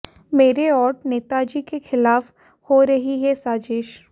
मेरे और नेताजी के खिलाफ हो रही है साजिश